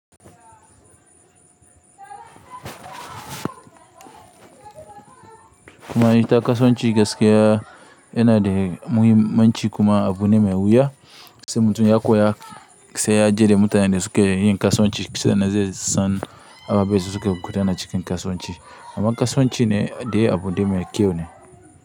Kuma ita kasuwanci gaskiya yana da muhimmanci kuma abu ne mai wuya, sai mutum ya koya sai ya je da mutanen da suke yin kasuwanci sannan zai san ababen da suke gudana cikin kasuwanci. Amma kasuwanci ne dai abu ne mai kyau ne.